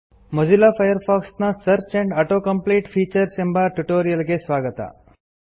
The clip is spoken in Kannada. ಮೊಜಿಲ್ಲಾ ಫೈರ್ಫಾಕ್ಸ್ ನ search and auto complete features ಎಂಬ ಟ್ಯುಟೋರಿಯಲ್ ಗೆ ಸ್ವಾಗತ